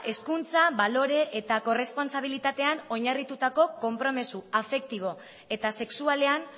hezkuntza balore eta errespontsabilitatean oinarritutako konpromiso afektibo eta sexualean